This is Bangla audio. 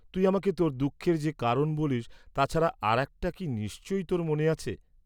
তুই আমাকে তোর দুঃখের যে কারণ বলিস্ তা ছাড়া আর একটা কি নিশ্চয়ই তোর মনে আছে।